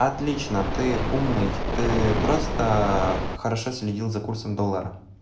отлично ты умный ты просто хорошо следил за курсом доллара